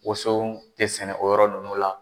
Woson tɛ sɛnɛ o yɔrɔ nunnu la.